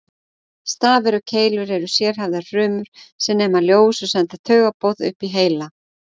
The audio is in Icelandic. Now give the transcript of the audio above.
Stafir og keilur eru sérhæfðar frumur sem nema ljós og senda taugaboð upp í heila.